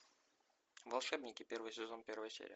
волшебники первый сезон первая серия